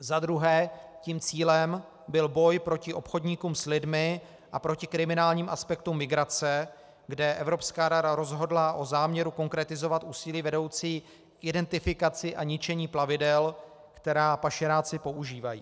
Za druhé tím cílem byl boj proti obchodníkům s lidmi a proti kriminálním aspektům migrace, kde Evropská rada rozhodla o záměru konkretizovat úsilí vedoucí k identifikaci a ničení plavidel, která pašeráci používají.